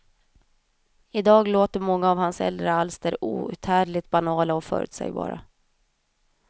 I dag låter många av hans äldre alster outhärdligt banala och förutsägbara.